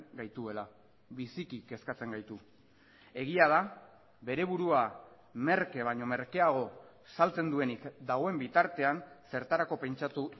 gaituela biziki kezkatzen gaitu egia da bere burua merke baino merkeago saltzen duenik dagoen bitartean zertarako pentsatu